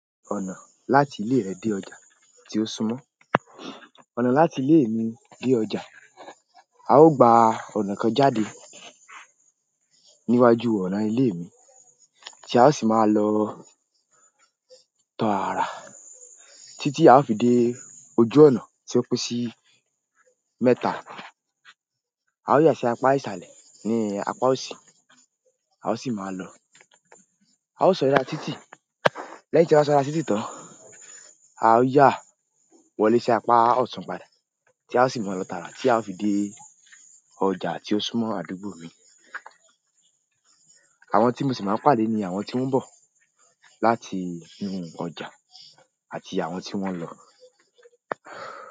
Ọ̀nà láti ile re de ọjà ti o súnmọ́. Ọ̀nà láti ile mi de ọjà, a o gba ọ̀nà kan jáde níwájú ọ̀nà ilé mi tí a ó sì máa lọ tọ ara títí a o fi dé ojú ọ̀nà tí ó pín sí mẹ́ta. A ó yà sí apá ìsàlẹ̀ ní apá òsì, a ó sì máa lọ, a ó sọ̀da títí. Lẹ́yìn tí a bá sọ̀da títí tán, a ó yà wọlé sí apá ọ̀tun padà tí a ó sì máa lọ tààrà tí a ó fi dé ọjà tí ó súmọ́ àdúgbò mi. Àwọn tí mo sì máa ń pàdé ni àwọn tí wọ́n ń bọ̀ láti inú ọjà àti àwọn tí wọ́n ń lọ.